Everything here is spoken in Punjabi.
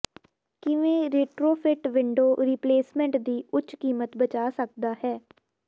ਕਿਵੇਂ ਰਿਟਰੋਫਿਟ ਵਿੰਡੋ ਰੀਪਲੇਸਮੈਂਟ ਦੀ ਉੱਚ ਕੀਮਤ ਬਚਾ ਸਕਦਾ ਹੈ